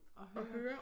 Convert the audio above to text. At høre